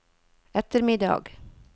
ettermiddag